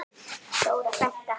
Þóra frænka.